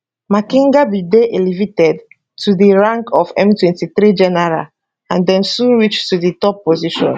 makenga bin dey elevated to di rank of m23 general and den soon reach di top position